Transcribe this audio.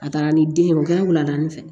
A taara ni den ye o kɛra wulada de fɛ